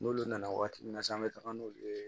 N'olu nana waati min na sisan an be taga n'olu ye